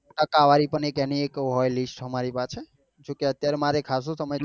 ટકાવારી પણ હોય એક એની એક હોય list અમારી પાસે જો કે અત્યારે મારે ખાસો.